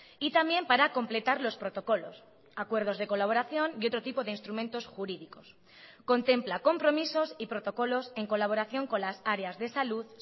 y también para completar los protocolos acuerdos de colaboración y otro tipo de instrumentos jurídicos contempla compromisos y protocolos en colaboración con las áreas de salud